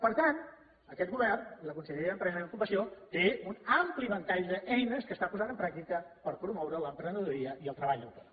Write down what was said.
per tant aquest govern i la conselleria d’empresa i ocupació tenen un ampli ventall d’eines que està posant en pràctica per promoure l’emprenedoria i el treball autònom